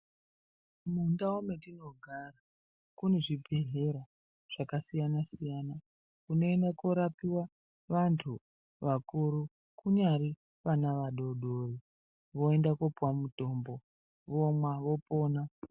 Mundau metinogara kune zvibhedhleya zvakasiyana siyana kunoenda korapiwa vantu vakuru anyari ana adodori voenda kopuwa mutombo vomwa vopona.